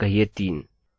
अभी यह नहीं है